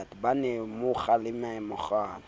ha a mo kgalemella mekgwanyana